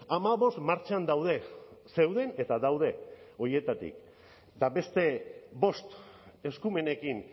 hamabost martxan daude zeuden eta daude horietatik eta beste bost eskumenekin